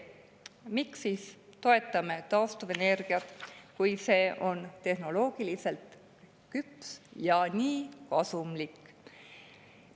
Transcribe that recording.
Miks siis toetame taastuvenergia, kui see on tehnoloogiliselt küps ja nii kasumlik?